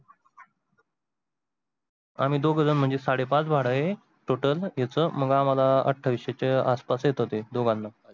आम्ही दोघ झन म्हणजे साडे पाच भाड आहे Total याच मग आम्हाला आठविसे च्या आस पास येतो ते दोघांना.